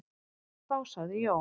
Þá sagði Jón: